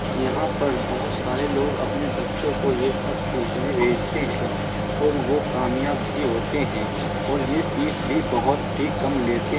यहाँ पर बोहोत सारे लोग अपने बच्चों को ये सब सीखने भेजते हैं और वो कामियाब भी होते है और ये फ़ीस भी बोहोत ही कम लेते --